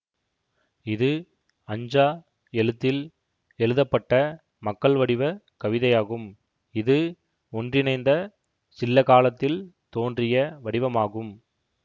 இது ஃஅஞ்சா எழுத்தில் எழுதப்பட்ட மக்கள்வடிவக் கவிதையாகும்இது ஒன்றிணைந்த சில்ல காலத்தில் தோன்றிய வடிவமாகும்